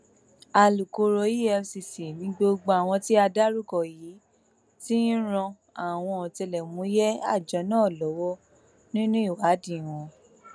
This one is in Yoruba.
alūkkóró efcc ni gbogbo àwọn tí a dárúkọ yìí ti ń ran àwọn ọtẹlẹmúyẹ àjọ náà lọwọ nínú ìwádìí wọn